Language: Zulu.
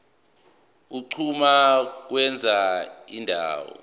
unquma ukwenza indawo